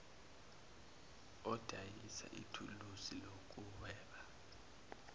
odayisa ithuluzi lokuhweba